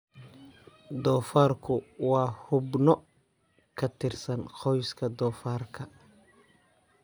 Doofaarku waa xubno ka tirsan qoyska doofaarka.